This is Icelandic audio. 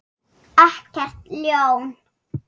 Ekkert ljón.